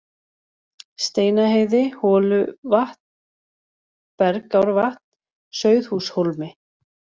Steinaheiði, Holuvatn, Bergárvatn, Sauðhúshólmi